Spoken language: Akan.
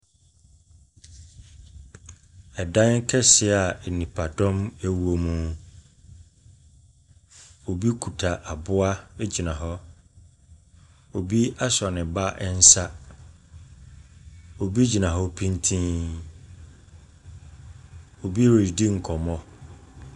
Ɛdan kɛseɛ a nipadɔm wɔ mu. Obi kita aboa gyina hɔ. Obi asɔ ne ba nsa. Obi gyina hɔ pintinn. Obi redi nkɔmmɔ.